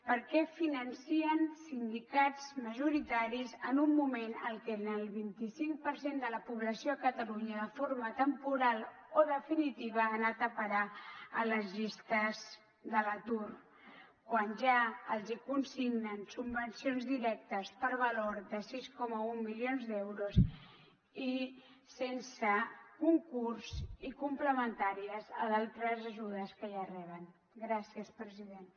per què financen sindicats majoritaris en un moment en què el vint cinc per cent de la població a catalunya de forma temporal o definitiva ha anat a parar a les llistes de l’atur quan ja els hi consignen subvencions directes per valor de sis coma un milions d’euros i sense concurs i complementàries a d’altres ajudes que ja reben gràcies president